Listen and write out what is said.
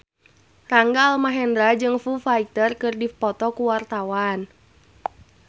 Rangga Almahendra jeung Foo Fighter keur dipoto ku wartawan